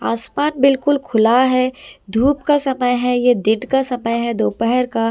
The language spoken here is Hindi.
आसमान बिल्कुल खुला है धूप का समय है ये दिन का समय है दोपहर का--